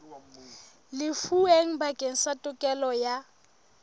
lefuweng bakeng sa tokelo ya